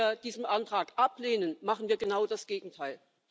Wenn wir diesen Antrag ablehnen, machen wir genau das Gegenteil.